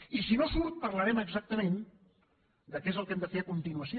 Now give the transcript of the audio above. i si no surt parlarem exactament de què és el que hem de fer a continuació